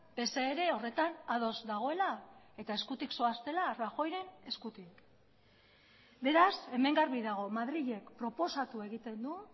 pse ere horretan ados dagoela eta eskutik zoaztela rajoyren eskutik beraz hemen garbi dago madrilek proposatu egiten du